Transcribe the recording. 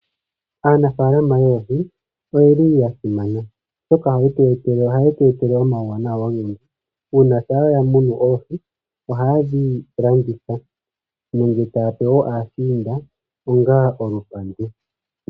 Aanafaalama oyendji oyeli ya simana oshoka ohaye tu etele omauwanawa ogendji. Uuna taya muna oohi, ohaye dhi landitha nenge taya pe aashiinda onga olupandu.